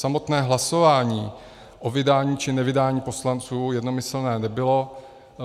Samotné hlasování o vydání či nevydání poslanců jednomyslné nebylo.